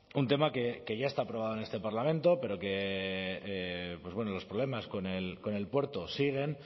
un tema que ya está aprobado en este parlamento pero que pues bueno los problemas con el puerto siguen